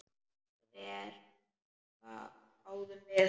Verr, hváðum við.